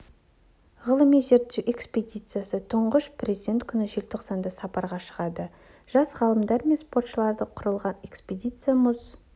ғылыми зерттеу экспедициясы тұңғыш президент күні желтоқсанда сапарға шығады жас ғалымдар мен спортшылардан құралған экспедиция мұз